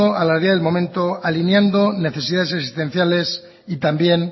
a la vía del momento alineando necesidades existenciales y también